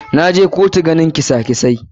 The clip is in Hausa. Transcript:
Na je kotu ganin kesa kesai.